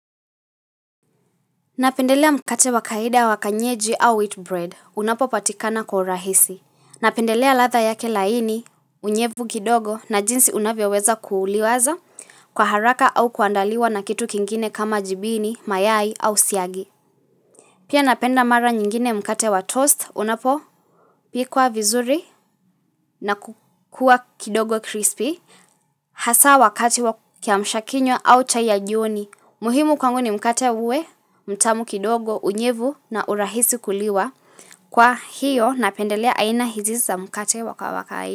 Napendelea mkate wa kawaida wa kanyeji au wheat bread. Unapo patikana kwa urahisi. Napendelea latha yake laini, unyevu kidogo na jinsi unavyoweza kuuliwaza kwa haraka au kuandaliwa na kitu kingine kama jibini, mayai au siagi. Pia napenda mara nyingine mkate wa toast. Unapo pikwa vizuri na kukua kidogo crispy. Hasaa wakati wa kiamshakinywa au cha ya jioni muhimu kwangu ni mkate uwe, mtamu kidogo, unyevu na urahisi kuliwa Kwa hiyo napendelea aina hizi za mkate wakawakai.